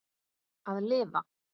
Að lifa?